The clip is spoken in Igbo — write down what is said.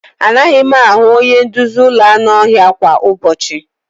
Anaghị m ahụ onye nduzi ụlọ anụ ọhịa kwa ụbọchị.